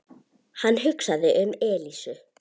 Hann hugsaði um Elísu.